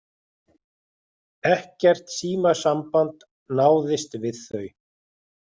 Ekkert símasamband náðist við þau